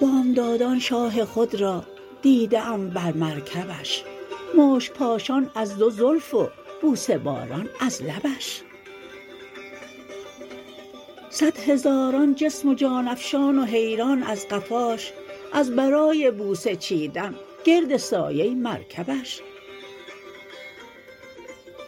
بامدادان شاه خود را دیده ام بر مرکبش مشک پاشان از دو زلف و بوسه باران از لبش صدهزاران جسم و جان افشان و حیران از قفاش از برای بوسه چیدن گرد سایه مرکبش